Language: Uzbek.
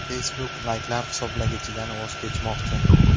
Facebook layklar hisoblagichidan voz kechmoqchi.